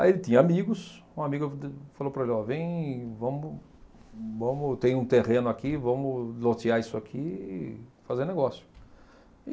Aí ele tinha amigos, um amigo de falou para ele, ó, vem, vamos, vamos, tem um terreno aqui, vamos lotear isso aqui e e fazer negócio.